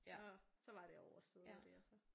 Så så var det overstået og det og så